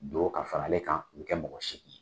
Don ka faralen kan, ka kɛ mɔgɔ segin ye.